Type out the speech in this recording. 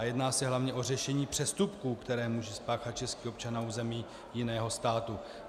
A jedná se hlavně o řešení přestupků, které může spáchat český občan na území jiného státu.